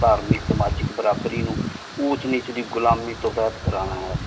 ਧਾਰਮਿਕ ਸਮਾਜਿਕ ਬਰਾਬਰੀ ਨੂ ਊੰਚ ਨੀਚ ਦੀ ਘੁਲਮਿ ਤੋਂ ਅਜਾਦ ਕਰਨਾ ਹੈ